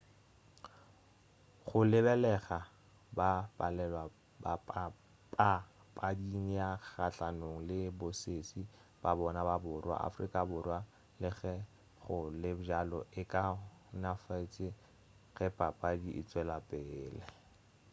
go lebelega ba palelwa papading ya kgahlanong le bosesi ba bona ba borwa afrika borwa le ge go le bjalo e kaonafetše ge papadi e tšwelapele